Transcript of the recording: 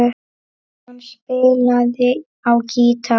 Hann spilaði á gítar.